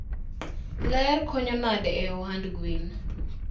Ler konyo nade e ohand gwen?